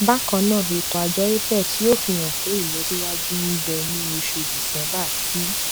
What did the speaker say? bákan náà ètò àjọ apex yóò fi hàn pé ìlọsíwájú ń bẹ ní oṣù december tí